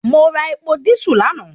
Mo ra epo dísù lánàá